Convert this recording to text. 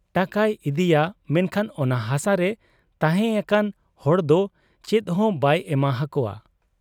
ᱴᱟᱠᱟᱭ ᱤᱫᱤᱭᱟ ᱢᱮᱱᱠᱷᱟᱱ ᱚᱱᱟ ᱦᱟᱥᱟᱨᱮ ᱛᱟᱦᱮᱸ ᱟᱠᱟᱱ ᱦᱚᱲᱫᱚ ᱪᱮᱫᱦᱚᱸ ᱵᱟᱭ ᱮᱢᱟ ᱦᱟᱠᱚᱣᱟ ᱾